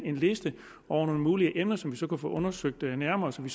en liste over mulige emner som vi så kan undersøge nærmere så vi